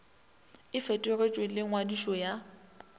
e fetoletšwe le ngwadišo ya